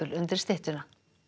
undir styttuna